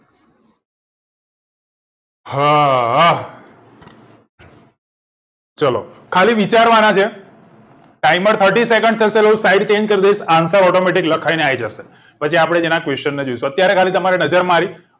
હાહા ચલો ખાલી વિચારવા નાં છે timer thirty second ચાલશે હું slide change કર દઈસ answer automatic લખાઈ ને આવી જશે પછી આપડે એના question જોઈશું અત્યારે ખાલી તમારે નજર મારી